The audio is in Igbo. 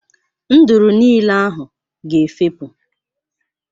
Nduru niile ahụ ga efepụ.